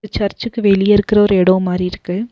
சர்ச்சுக்கு வெளிய இருக்கற ஒரு எடோ மாரி இருக்கு.